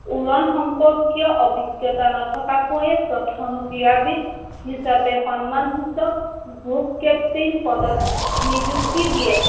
উৰণ সম্পৰ্কীয় অভিজ্ঞতা নথকাকৈয়ে প্ৰথম ক্ৰীড়াবীদ হিচাপে সন্মানসূচক Group Captain পদত নিযুক্তি দিয়ে।